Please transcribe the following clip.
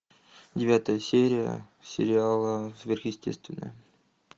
девятая серия сериала сверхъестественное